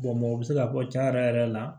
o bɛ se ka bɔ cɛn yɛrɛ yɛrɛ la